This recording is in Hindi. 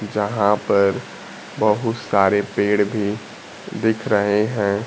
जहां पर बहुत सारे पेड़ भी दिख रहे हैं।